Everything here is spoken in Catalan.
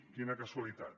quina casualitat